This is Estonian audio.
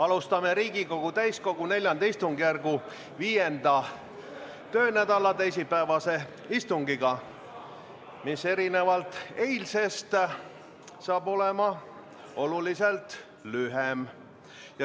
Alustame Riigikogu täiskogu IV istungjärgu 5. töönädala teisipäevast istungit, mis erinevalt eilsest saab olema oluliselt lühem.